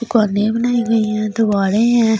दुकाने बनाई गइ है दिवारे है इसने--